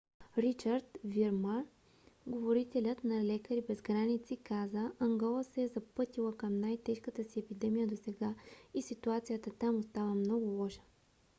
ричард вирман говорителят на лекари без граници каза: ангола се е запътила към най - тежката си епидемия досега и ситуацията там остава много лоша